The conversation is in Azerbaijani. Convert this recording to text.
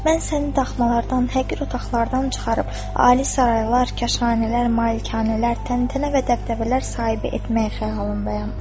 Mən səni daxmalardan, həqir otaqlardan çıxarıb ali saraylar, kaşanələr, malikanələr, təntənə və dəbdəbələr sahibi etməyi xəyalımdayam.